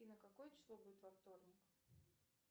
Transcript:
афина какое число будет во вторник